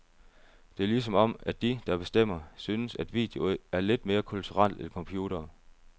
Det er ligesom om, at de, der bestemmer, synes, at video er lidt mere kulturelt end computere.